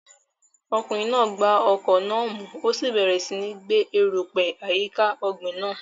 Ọkùnrin náà gba ọkọ́ náà mú, ó sì bẹ̀rẹ̀ síi gbẹ́ erùpẹ̀ àyíká ọ̀gbìn náà.